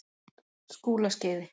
Skúlaskeiði